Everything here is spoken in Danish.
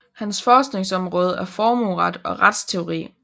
Hans forskningsområde er formueret og retsteori